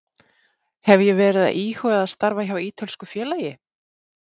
Hef ég verið að íhuga að starfa hjá ítölsku félagi?